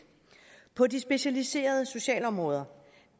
på det specialiserede socialområde